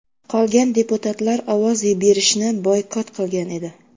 Qolgan deputatlar ovoz berishni boykot qilgan edi.